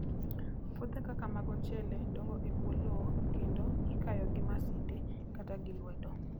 Puothe kaka mag ochele dongo e bwo lowo kendo ikayo gi masinde kata gi lwedo.